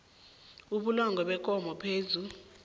ubulongwe bekomo phezu